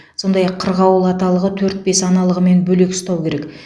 сондай ақ қырғауыл аталығы төрт бес аналығымен бөлек ұстау керек